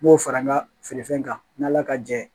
N b'o fara n ka feerefɛn kan n' ala ka jɛ ye